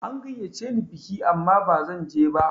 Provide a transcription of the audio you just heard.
An gayyace ni biki amma ba zanje ba.